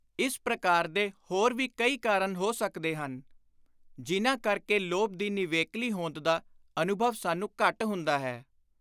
ਇਸ ਪ੍ਰਕਾਰ ਦੇ ਹੋਰ ਵੀ ਕੁਈ ਕਾਰਨ ਹੋ ਸੱਕਦੇ ਹਨ, ਜਿਨ੍ਹਾਂ ਕਰਕੇ ਲੋਭ ਦੀ ਨਿਵੇਕਲੀ ਹੋਂਦ ਦਾ ਅਨੁਭਵ ਸਾਨੂੰ ਘੱਟ ਹੁੰਦਾ ਹੈ।